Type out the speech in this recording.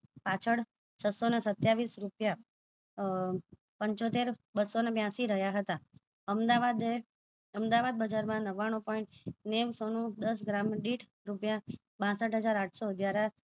પાછળ છસો ને સતાયાવીસ રૂપિયા અહહ પંચોતેર બસો ને બયાંશી રહ્યા હતા અમદાવાદ બજાર માં નવાણું point નેવસો નું દસ ગ્રામ દીઠ રૂપિયા બાસઠ હજાર આઠસો જરા